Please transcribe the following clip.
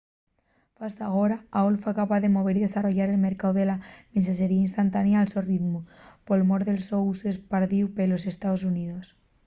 fasta agora aol fue capaz de mover y desarrollar el mercáu de la mensaxería instantánea al so ritmu por mor del so usu espardíu pelos estaos xuníos